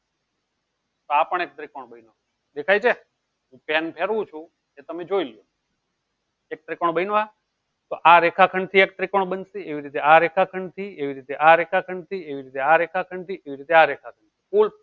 તો આ પણ એક ત્રિકોણ બનું ગયું દેખાય છે એમ ફેરવું છું તમે જોઈ લવ એક ત્રિકોણ બન્યું આ તો આ રેખા ખંડ થી આ એક ત્રિકોણ બન્યું એવી રીતે આ રેખા ખંડ થી એવી રીતે આ રેખા ખંડ થી એવી રીતે આ રેખા ખંડ થી એવી રીતે આ રેખા ખંડ થી કુલ